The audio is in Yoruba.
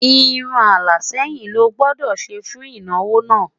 irún ala sẹyìn ló gbódò ṣé fún ìnáwó nà